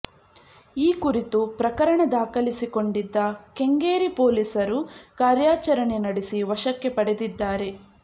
ಈ ಕುರಿತು ಪ್ರಕರಣ ದಾಖಲಿಸಿಕೊಂಡಿದ್ದ ಕೆಂಗೇರಿ ಪೊಲೀಸರು ಕಾರ್ಯಾಚರಣೆ ನಡೆಸಿ ವಶಕ್ಕೆ ಪಡೆದಿದ್ದಾರೆ